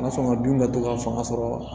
fanga dun ka dɔgɔ ka fanga sɔrɔ